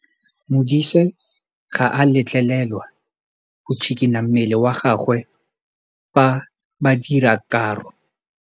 Modise ga a letlelelwa go tshikinya mmele wa gagwe fa ba dira karô.